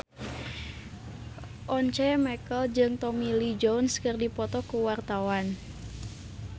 Once Mekel jeung Tommy Lee Jones keur dipoto ku wartawan